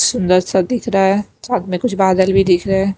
सुंदर सा दिख रहा है साथ में कुछ बादल भी दिख रहे हैं।